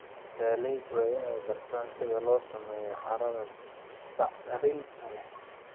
Beeraleydu waa inay bartaan sida loo sameeyo carrada bacrinta leh.